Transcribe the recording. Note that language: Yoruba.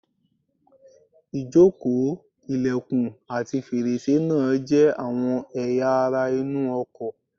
Ìjókòó, ilẹ̀kùn, ati fèrèsé náà jẹ́ àwọn ẹ̀yà ara inú ọkọ̀